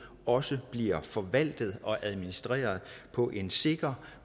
også bliver forvaltet og administreret på en sikker